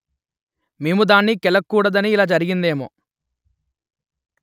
మేము దాన్ని కెలకలూడదని ఇలా జరిగిందేమో